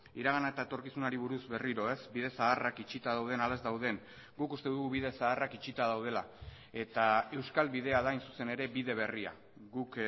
iragana eta etorkizunari buruz berriro ez bide zaharrak itxita dauden ala ez dauden guk uste dugu bide zaharrak itxita daudela eta euskal bidea da hain zuzen ere bide berria guk